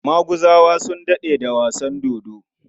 Maguzawa sun daɗe da wasan dodo.